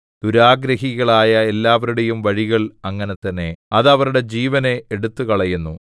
ദുരാഗ്രഹികളായ എല്ലാരുടെയും വഴികൾ അങ്ങനെ തന്നെ അത് അവരുടെ ജീവനെ എടുത്തുകളയുന്നു